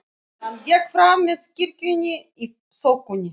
Hann gekk fram með kirkjunni í þokunni.